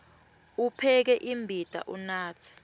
upheke imbita unatse